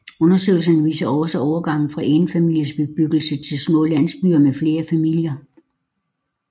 Undersøgelserne viser også overgangen fra enfamilies bebyggelser til små landsbyer med flere familier